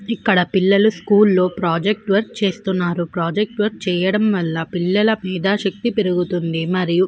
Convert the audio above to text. ఇక్కడ పిల్లలు స్కూల్ లో ప్రాజెక్ట్ వర్క్ చేస్తూ ఉన్నారు. ప్రాజెక్ట్ వర్క్ చేయడం వల్ల పిల్లల మేధాశక్తి పెరుగుతుంది మరియు --